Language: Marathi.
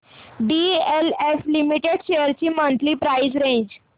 डीएलएफ लिमिटेड शेअर्स ची मंथली प्राइस रेंज